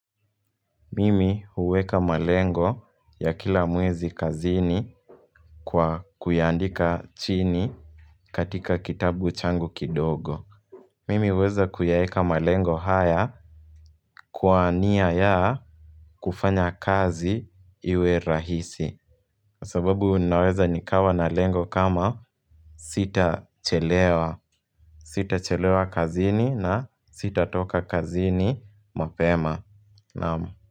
Mimi huweka malengo ya kila mwezi kazini kwa kuyaandika chini katika kitabu changu kidogo. Mimi huweza kuyaweka malengo haya kwa nia ya kufanya kazi iwe rahisi. Sababu ninaweza nikawa na lengo kama sitachelewa. Sitachelewa kazini na sitatoka kazini mapema. Naam.